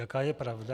Jaká je pravda?